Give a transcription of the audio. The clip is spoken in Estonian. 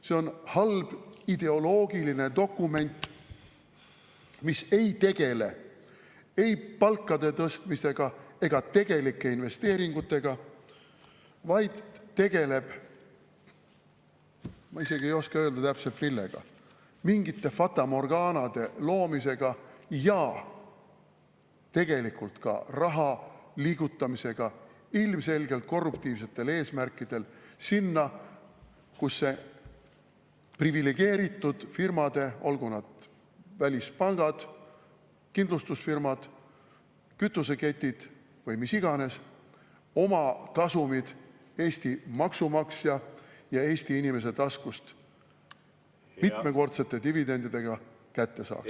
See on halb ideoloogiline dokument, mis ei tegele ei palkade tõstmisega ega tegelike investeeringutega, vaid tegeleb – ma isegi ei oska öelda täpselt millega – mingite fatamorgaanade loomisega ja tegelikult ka raha liigutamisega ilmselgelt korruptiivsetel eesmärkidel sinna, kus privilegeeritud firmad, olgu need välispangad, kindlustusfirmad, kütuseketid või mis iganes, oma kasumid Eesti maksumaksja ja Eesti inimese taskust mitmekordsete dividendidega kätte saaks.